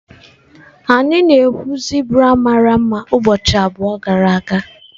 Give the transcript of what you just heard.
Anyị na-ekwu zebra mara mma ụbọchị abụọ gara aga.